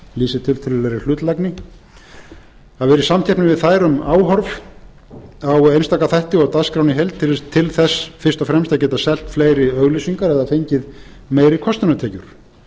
lýsir tiltölulegri hlutlægni að vera í samkeppni við þær um áhorf á einstaka þætti og dagskrána í heild til þess fyrst og fremst að geta selt fleiri auglýsingar eða fengið meiri kostunartekjur